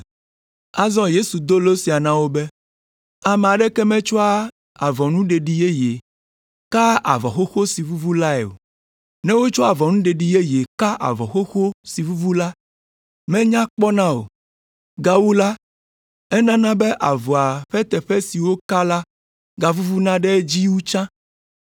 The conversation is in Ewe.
Azɔ Yesu do lo sia na wo be, “Ame aɖeke metsɔa avɔnuɖeɖi yeye kaa avɔ xoxo si vuvu lae o. Ne wotsɔ avɔnuɖeɖi yeye ka avɔ xoxo si vuvu la, menya kpɔna o; gawu la, enana be avɔa ƒe teƒe si woka la gavuvuna ɖe edzi wu tsã.